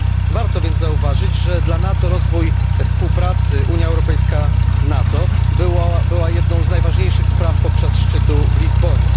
Warto więc zauważyć, że dla NATO rozwój współpracy Unia Europejska NATO był jednym z najważniejszych spraw podczas szczytu w Lizbonie.